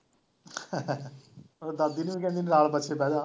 ਉਹ ਦਾਦੀ ਨੂੰ ਵੀ ਕਹਿੰਦੀ ਨਾਲ ਬੱਸੇ ਬਹਿ ਜਾ